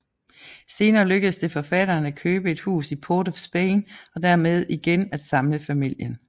Senere lykkedes det faderen at købe et hus i Port of Spain og dermed igen at samle familien